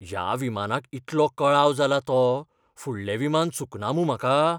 ह्या विमानाक इतलो कळाव जाला तो, फुडलें विमान चुकना मूं म्हाका?